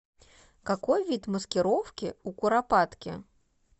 какой вид маскировки у куропатки